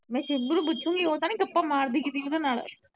ਮੈ ਛਿੱਬੂ ਨੂੰ ਪੁੱਛੂਗੀ ਉਹ ਤਾ ਨਹੀਂ ਗੱਪਾਂ ਮਾਰਦੀ ਕਿਸੀ ਦੇ ਨਾਲ